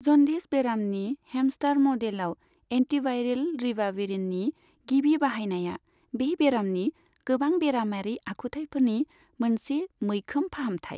जन्दिस बेरामनि हेमस्टार मडेलाव, एन्टिभायरेल रिबाविरिननि गिबि बाहायनाया बे बेरामनि गोबां बेरामारि आखुथाइफोरनि मोनसे मैखोम फाहामथाय।